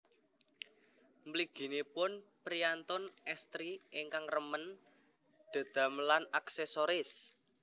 Mliginipun priyantun estri ingkang remen dedamelan aksesoris